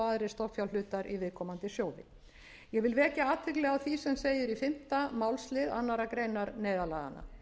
stofnfjárhlutar í viðkomandi sjóði ég vil vekja athygli á því sem segir í fimmta málslið annarrar greinar neyðarlaganna